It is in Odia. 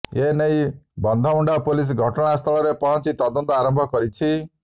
ଏ ନେଇ ବନ୍ଧମୁଣ୍ଡା ପୁଲିସ ଘଟଣାସ୍ଥଳରେ ପହଞ୍ଚି ତଦନ୍ତ ଆରମ୍ଭ କରିଛି